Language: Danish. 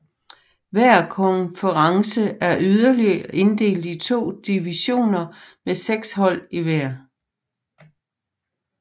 Hver konference er yderligere inddelt i to divisioner med seks hold i hver